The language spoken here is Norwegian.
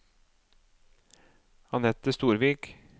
Anette Storvik